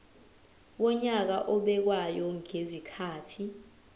wonyaka obekwayo ngezikhathi